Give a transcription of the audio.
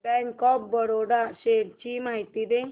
bank of Baroda shares ची माहिती दे